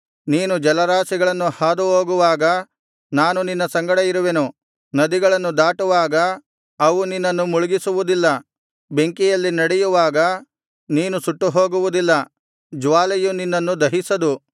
ನೀನು ಜಲರಾಶಿಯನ್ನು ಹಾದು ಹೋಗುವಾಗ ನಾನು ನಿನ್ನ ಸಂಗಡ ಇರುವೆನು ನದಿಗಳನ್ನು ದಾಟುವಾಗ ಅವು ನಿನ್ನನ್ನು ಮುಳುಗಿಸುವುದಿಲ್ಲ ಬೆಂಕಿಯಲ್ಲಿ ನಡೆಯುವಾಗ ನೀನು ಸುಟ್ಟುಹೋಗುವುದಿಲ್ಲ ಜ್ವಾಲೆಯು ನಿನ್ನನ್ನು ದಹಿಸದು